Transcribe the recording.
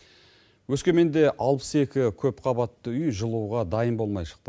өскеменде алпыс екі көп қабатты үй жылуға дайын болмай шықты